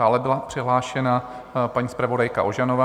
Dále byla přihlášená paní zpravodajka Ožanová.